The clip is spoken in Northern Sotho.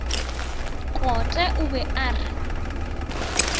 kote o be a re